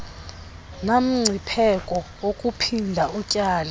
namngcipheko wakuphinda utyale